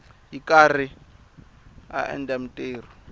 ri karhi a endla mintirho